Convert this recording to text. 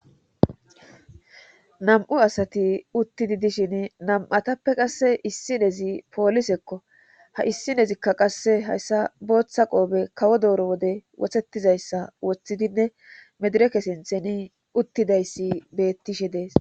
Nam'u asati uttidi dishin nam7atappe qasse issi nezi poolisekko ha issinezikka qasse hayssa booththa qoobe kawo dooro wode wothetizayssa woththidinne medireke sintheni uttidayssi beettishe dees